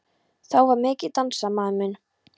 Þá var mikið dansað, maður minn.